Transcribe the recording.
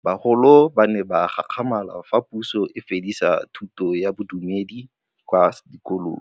Bagolo ba ne ba gakgamala fa Pusô e fedisa thutô ya Bodumedi kwa dikolong.